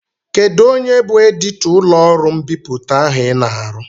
Kedụ onye bụ editọ ụlọọrụ mbipụta ahụ I na-arụ?